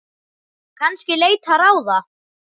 Kannski leita ráða.